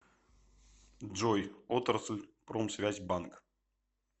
джой отрасль промсвязьбанк